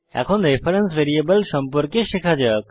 এখন reference variable সম্পর্কে শেখা যাক